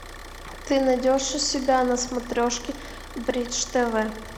ты найдешь у себя на смотрешке бридж тв